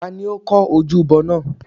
ta ni ó kọ́ ojúbọ náà?